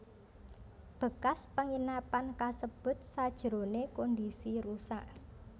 Bekas penginapan kasebut sajrone kondisi rusak